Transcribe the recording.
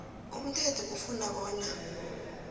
umthetho ufuna bona